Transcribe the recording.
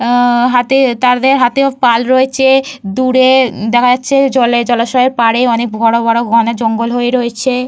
আ হাতে তাদের হাতে পাল রয়েছে। দূরে দেখা যাচ্ছে জলে জলাশয়ের পাড়ে অনেক বড় বড় ঘন জঙ্গল হয়ে রয়েছে।